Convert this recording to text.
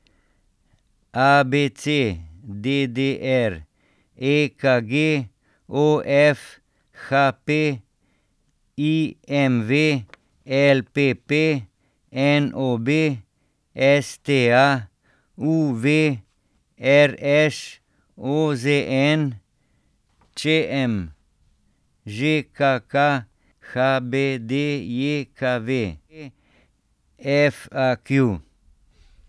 A B C; D D R; E K G; O F; H P; I M V; L P P; N O B; S T A; U V; R Š; O Z N; Č M; Ž K K; H B D J K V; F A Q.